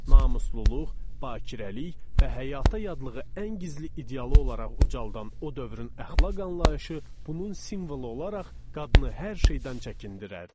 Namusluluq, bakirəlik və həyata yadlığı ən gizli idealı olaraq ucaldılan o dövrün əxlaq anlayışı bunun simvolu olaraq qadını hər şeydən çəkindirərdi.